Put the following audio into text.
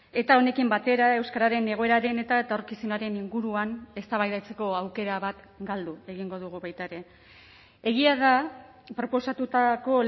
eta honekin batera euskararen egoeraren eta etorkizunaren inguruan eztabaidatzeko aukera bat galdu egingo dugu baita ere egia da proposatutako